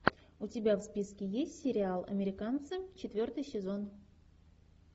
у тебя в списке есть сериал американцы четвертый сезон